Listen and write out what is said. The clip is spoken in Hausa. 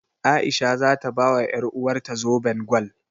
A'isha za ta bawa ƴaruwarta zoben gwal.